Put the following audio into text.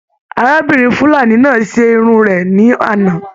Arábìnrin fulani náà se Irun rẹ ní àná.